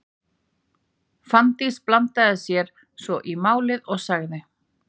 Fanndís blandaði sér svo í málin og sagði: